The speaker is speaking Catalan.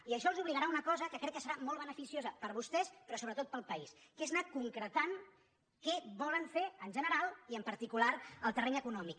i això els obligarà a una cosa que crec que serà molt beneficiosa per a vostès però sobretot per al país que és anar concretant què volen fer en general i en particular al terreny econòmic